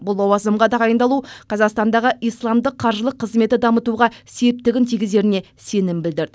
бұл лауазымға тағайындалу қазақстандағы исламдық қаржылық қызметті дамытуға септігін тигізеріне сенім білдірді